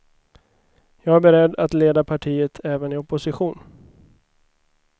Jag är beredd att leda partiet även i oppostition.